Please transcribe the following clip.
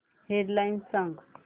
head lines सांग